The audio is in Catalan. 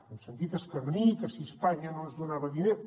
hem sentit escarnir que si espanya no ens donava diners